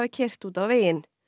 keyrt út á veginn